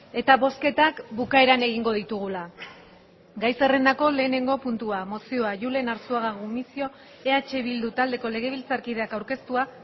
eta bozketak bukaeran egingo ditugula gai zerrendako lehenengo puntua mozioa julen arzuaga gumuzio eh bildu taldeko legebiltzarkideak aurkeztua